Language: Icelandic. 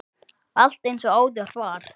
Allt eins og áður var.